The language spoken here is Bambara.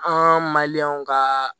An ma ka